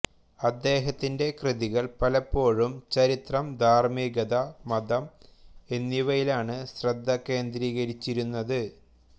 അദ്ദേഹത്തിന്റെ കൃതികൾ പലപ്പോഴും ചരിത്രം ധാർമ്മികത മതം എന്നിവയിലാണ് ശ്രദ്ധ കേന്ദ്രീകരിച്ചിരുന്നത്